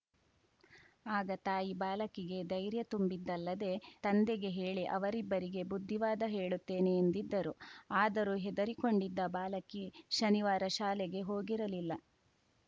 ಆಗ ತಾಯಿ ಬಾಲಕಿಗೆ ಧೈರ್ಯ ತುಂಬಿದ್ದಲ್ಲದೆ ತಂದೆಗೆ ಹೇಳಿ ಅವರಿಬ್ಬರಿಗೆ ಬುದ್ಧಿವಾದ ಹೇಳುತ್ತೇನೆ ಎಂದಿದ್ದರು ಆದರೂ ಹೆದರಿಕೊಂಡಿದ್ದ ಬಾಲಕಿ ಶನಿವಾರ ಶಾಲೆಗೆ ಹೋಗಿರಲಿಲ್ಲ